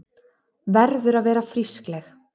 Verður að vera frískleg.